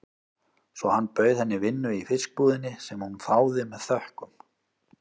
Svo hann bauð henni vinnu í fiskbúðinni, sem hún þáði með þökkum.